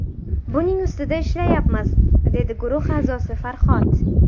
Buning ustida ishlayapmiz”, dedi guruh a’zosi Farhod.